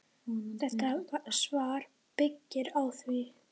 Þetta svar byggir á því.